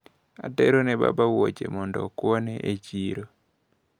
Aterone baba wuoche mondo okuone e chiro.